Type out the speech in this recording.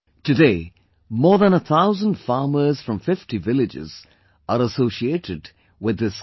Today more than 1000 farmers from 50 villages are associated with this couple